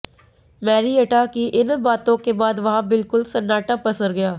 Marietta की इन बातों के बाद वहां बिल्कुल सन्नाटा पसर गया